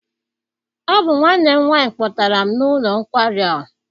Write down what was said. Ọ bụ nwanne m nwaanyị kpọtara m n'ụlọ nkwari a.